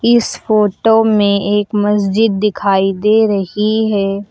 इस फोटो में एक मस्जिद दिखाई दे रही है।